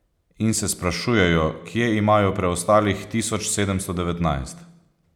In se sprašujejo, kje imajo preostalih tisoč sedemsto devetnajst.